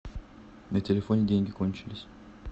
на телефоне деньги кончились